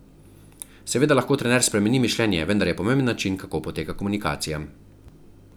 Seveda lahko trener spremeni mišljenje, vendar je pomemben način, kako poteka komunikacija.